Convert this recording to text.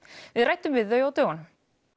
við ræddum við þau á dögunum